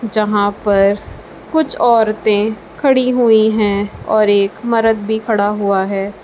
जहां पर कुछ औरतें खड़ी हुई हैं और एक मरद भी खड़ा हुआ है।